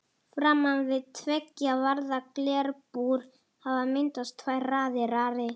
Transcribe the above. Framan við tveggja varða glerbúr hafa myndast tvær raðir.